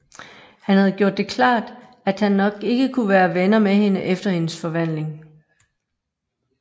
Han havde gjort det klart at han nok ikke kunne være venner med hende efter hendes forvandling